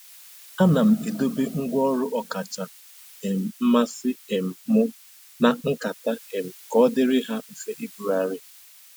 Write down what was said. Ana m edobe ngwa ọrụ ọkacha um mmasị um m na nkata um ka ọ dịrị ha mfe ibugharị.